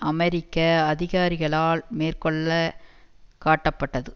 அமெரிக்க அதிகாரிகளால் மேற்கோள்ள காட்டப்பட்டது